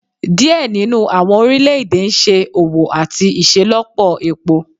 Diẹ ninu awọn orilẹ-ede n ṣe owo lati iṣelọpọ epo